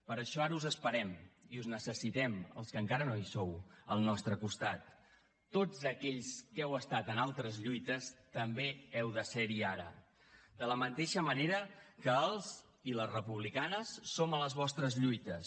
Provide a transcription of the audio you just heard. per això ara us esperem i us necessitem als que encara no hi sou al nostre costat tots aquells que heu estat en altres lluites també heu de ser hi ara de la mateixa manera que els i les republicanes som a les vostres lluites